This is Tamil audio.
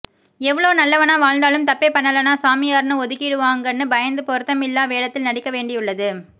எவ்ளோ நல்லவனா வாழ்ந்தாலும் தப்பே பண்ணலனா சாமியார்னு ஒதுக்கிடுவாங்கன்னு பயந்தே பொருத்தமில்லா வேடத்தில் நடிக்க வேண்டியுள்ளது